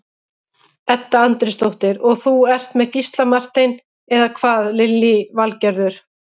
Edda Andrésdóttir: Og þú ert með Gísla Martein, eða hvað Lillý Valgerður?